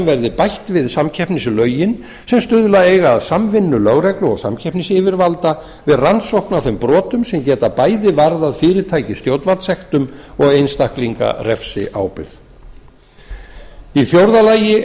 verði bætt við samkeppnislögin sem stuðla eiga að samvinnu lögreglu og samkeppnisyfirvalda við rannsókn á þeim brotum sem geta bæði varðar fyrirtæki stjórnvaldssektum og einstaklinga refsiábyrgð fjórða lagt